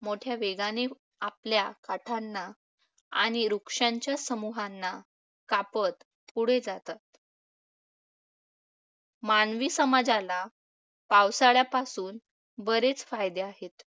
मोठ्या वेगाने आपल्या काठांना आणि वृक्षांच्या समूहांना कापत पुढे जातात. मानवी समाजाला पावसाळ्यापासून बरेच फायदे आहेत.